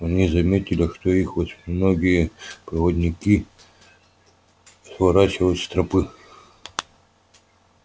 они заметили что их восьминогие проводники сворачивают с тропы